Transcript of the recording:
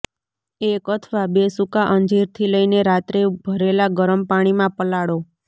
એક અથવા બે સૂકા અંજીરથી લઇને રાત્રે ભરેલા ગરમ પાણીમાં પલાળો